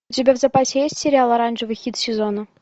у тебя в запасе есть сериал оранжевый хит сезона